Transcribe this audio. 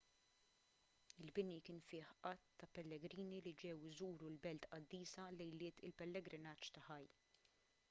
il-bini kien fih għadd ta' pellegrini li ġew iżuru l-belt qaddisa lejliet il-pellegrinaġġ ta' hajj